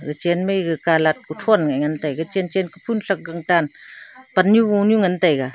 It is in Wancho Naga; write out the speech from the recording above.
uchen mai ke calat uphon mih ngan tege chen chen kuphun trak gan tan pan nu gonu ngan tega.